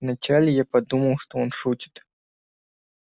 вначале я подумал что он шутит